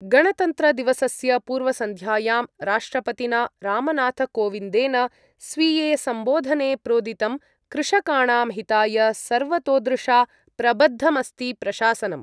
गणतन्त्रदिवसस्य पूर्वसन्ध्यायां राष्ट्रपतिना रामनाथकोविन्देन स्वीये सम्बोधने प्रोदितं कृषकाणां हिताय सर्वतोदृशा प्रबद्धमस्ति प्रशासनम्।